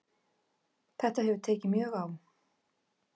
Þetta hefur tekið mjög á